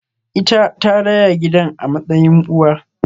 Ita ta raya gidan a matsayin uwa